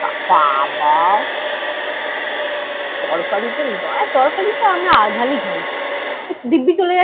বাবাঃ তরকারিতে, না তরকারিতে আমি আঝাল ই খাই।